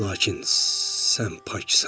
Lakin sən paksan.